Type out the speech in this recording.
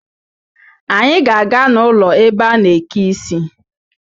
Anyị ga-aga n' ụlọ ebe a na-eke isi